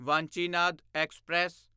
Vanchinad express